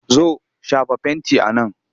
Zo! shafa fenti a nan!